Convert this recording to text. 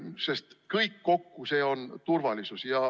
Sest kõik see kokku on turvalisus.